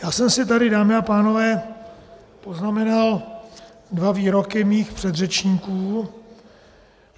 Já jsem si tady, dámy a pánové, poznamenal dva výroky svých předřečníků.